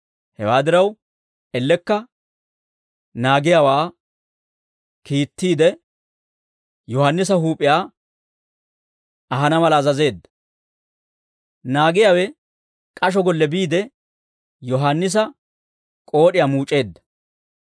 Hewaa diraw, ellekka naagiyaawaa kiittiide, Yohaannisa huup'iyaa ahana mala azazeedda; naagiyaawe k'asho golle biide, Yohaannisa k'ood'iyaa muuc'eedda.